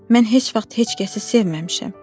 Mən heç vaxt heç kəsi sevməmişəm.